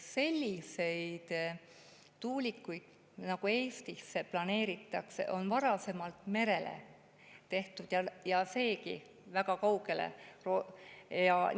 Selliseid tuulikuid nagu Eestisse planeeritakse, on varasemalt merre ja ka siis väga kaugele.